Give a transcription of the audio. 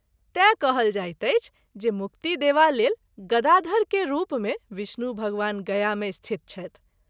तैँ कहल जाइत अछि जे मुक्ति देवा लेल ‘गदाधर’ के रूप मे विष्णु भगवान गया मे स्थित छथि।